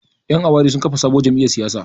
Ƴan awaren sun kafa sabuwar jamiyyar siyasa.